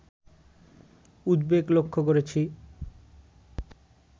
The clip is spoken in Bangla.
উদ্বেগ লক্ষ্য করেছি